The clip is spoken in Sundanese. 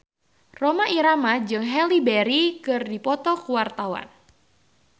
Rhoma Irama jeung Halle Berry keur dipoto ku wartawan